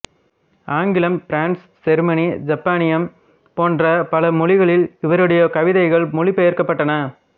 ஆங்கிலம் பிரெஞ்சு செருமனி எசுப்பானியம் போன்ற பல மொழிகளில் இவருடைய கவிதைகள் மொழிப் பெயர்க்கப்பட்டன